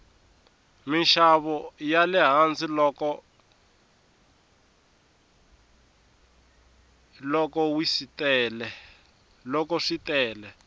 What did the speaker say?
minxavo yale hansi loko wsitele